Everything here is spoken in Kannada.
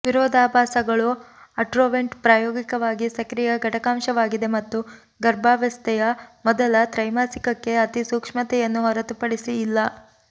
ವಿರೋಧಾಭಾಸಗಳು ಆಟ್ರೊವೆಂಟ್ ಪ್ರಾಯೋಗಿಕವಾಗಿ ಸಕ್ರಿಯ ಘಟಕಾಂಶವಾಗಿದೆ ಮತ್ತು ಗರ್ಭಾವಸ್ಥೆಯ ಮೊದಲ ತ್ರೈಮಾಸಿಕಕ್ಕೆ ಅತಿ ಸೂಕ್ಷ್ಮತೆಯನ್ನು ಹೊರತುಪಡಿಸಿ ಇಲ್ಲ